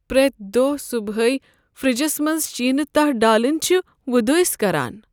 پرٛیتھ دۄہہ صبحٲے فرٛجس منٛز شینہٕ تہہ ڈالٕنۍ چھٖ وۄدٲسۍ كران ۔